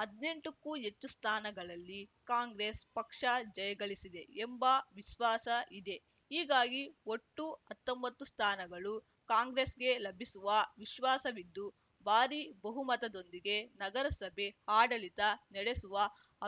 ಹದ್ನೆಂಟಕ್ಕೂ ಹೆಚ್ಚು ಸ್ಥಾನಗಳಲ್ಲಿ ಕಾಂಗ್ರೆಸ್‌ ಪಕ್ಷ ಜಯಗಳಿಸಿದೆ ಎಂಬ ವಿಶ್ವಾಸ ಇದೆ ಹೀಗಾಗಿ ಒಟ್ಟು ಹತ್ತೊಂಬತ್ತು ಸ್ಥಾನಗಳು ಕಾಂಗ್ರೆಸ್‌ಗೆ ಲಭಿಸುವ ವಿಶ್ವಾಸವಿದ್ದು ಭಾರೀ ಬಹುಮತದೊಂದಿಗೆ ನಗರಸಭೆ ಆಡಳಿತ ನಡೆಸುವ